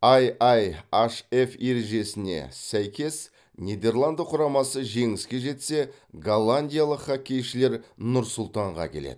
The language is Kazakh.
ай ай эйчж эф ережесіне сәйкес нидерланды құрамасы жеңіске жетсе голландиялық хоккейшілер нұр сұлтанға келеді